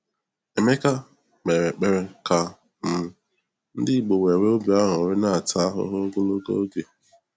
Emeka "kpere ekpere ka um ndị igbo wéré obi añụrị na-ata ahụhụ ogologo oge."